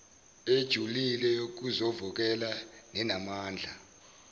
ejulile yokuzovokela nenamandla